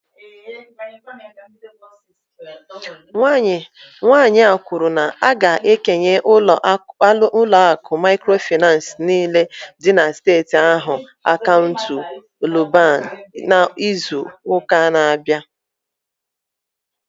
Nwanyị a kwuru na a ga-ekenye ụlọ akụ microfinance niile dị na steeti ahụ akaụntụ NUBAN n'izu ụka na-abịa